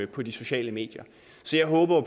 på de sociale medier så jeg håber